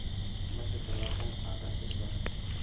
maseterata a ka se sa